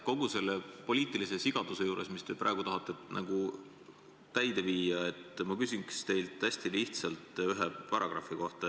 Kogu selle poliitilise sigaduse juures, mida te praegu tahate ellu viia, ma küsiks teilt hästi lihtsalt ühe paragrahvi kohta.